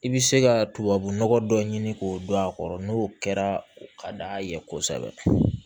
I bɛ se ka tubabunɔgɔ dɔ ɲini k'o dɔn a kɔrɔ n'o kɛra o ka d'a ye kosɛbɛ